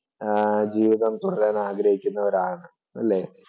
ആഹ് ജീവിതം തുടരാൻ ആഗ്രഹിക്കുന്നവരാണ്. അല്ലേ?